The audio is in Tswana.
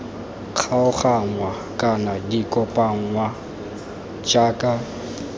kgaoganngwa kana di kopanngwe jaaka